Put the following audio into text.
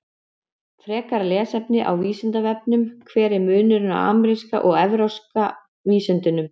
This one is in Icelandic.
Frekara lesefni á Vísindavefnum: Hver er munurinn á ameríska og evrópska vísundinum?